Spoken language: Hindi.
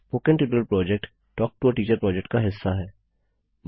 spoken tutorial project talk to a teacher project का हिस्सा है